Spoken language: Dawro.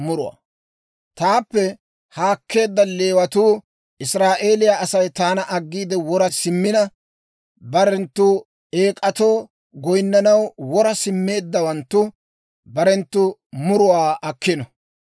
«‹ «Taappe haakkeedda Leewatuu, Israa'eeliyaa Asay taana aggiide wora simmina, barenttu eek'atoo goyinnanaw wora simmeeddawanttu, barenttu muruwaa akkino.